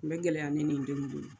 Tun bɛ gɛlɛya ne ni n denw muso bolo